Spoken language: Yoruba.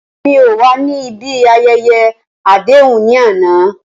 Rara, Emi ko wa ni ibi ayẹyẹ adehun ni ana.